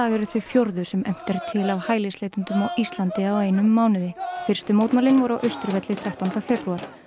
eru þau fjórðu sem efnt er til af hælisleitendum á Ísland á einum mánuði fyrstu mótmælin voru á Austurvelli þrettánda febrúar